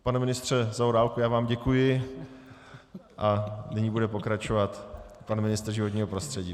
Pane ministře Zaorálku, já vám děkuji a nyní bude pokračovat pan ministr životního prostředí.